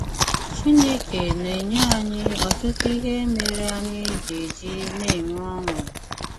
Chínèkè na-ènyè ányị ọtụtụ íhè mére ányị gà-ejì na-ènwè ọṅụ.